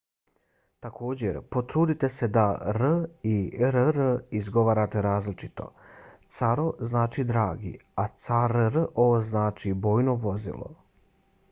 također potrudite se da r i rr izgovarate različito - caro znači dragi a carro znači bojno vozilo